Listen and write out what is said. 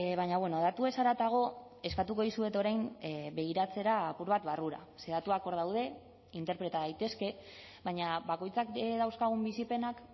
baina datuez haratago eskatuko dizuet orain begiratzera apur bat barrura ze datuak hor daude interpreta daitezke baina bakoitzak dauzkagun bizipenak